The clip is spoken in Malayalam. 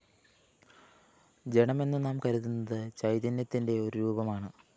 ജഡമെന്നു നാം കരുതുന്നത് ചൈതന്യത്തിന്റെ ഒരു രൂപമാണ്